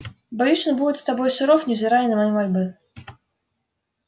боюсь он будет с тобой суров невзирая на мои мольбы